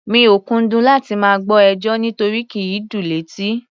Mi ò kúndùn láti máa gbọ́ ẹjọ́, nírotí kì í dùn létí.